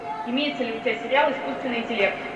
имеется ли у тебя сериал искусственный интеллект